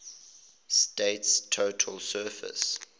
state's total surface